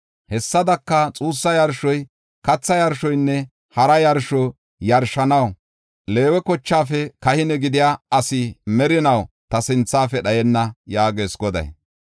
Hessadaka, xuussa yarsho, katha yarshonne hara yarsho yarshanaw Leewe kochaafe kahine gidiya asi merinaw ta sinthafe dhayenna” yaagees Goday.